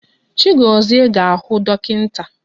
Chaigozie ga-ahụ dọkịnta.